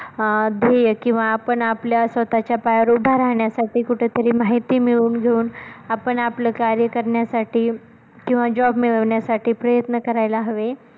अं ध्येय किंवा आपण आपल्या स्वतःच्या पायावर उभा राहण्यासाठी कुठे तरी माहिती मिळवून घेऊन आपण आपलं कार्य करण्यासाठी किंवा job मिळवण्यासाठी प्रयत्न करायला हवे.